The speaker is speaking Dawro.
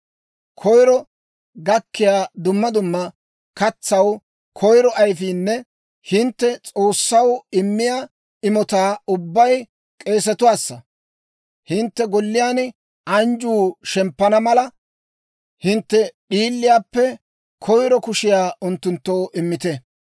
Koyiro gakkiyaa dumma dumma katsaw koyiro ayifiinne hintte S'oossaw immiyaa imotaa ubbay k'eesetuwaassa. Hintte golliyaan anjjuu shemppana mala, hintte d'iilliyaappe koyiro kushiyaa unttunttoo immite.